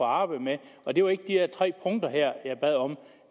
arbejde med og det var ikke de her tre punkter jeg bad om